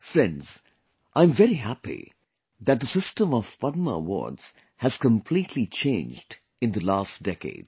Friends, I am very happy that the system of Padma awards has completely changed in the last decade